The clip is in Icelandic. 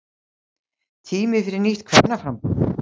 Tími fyrir nýtt kvennaframboð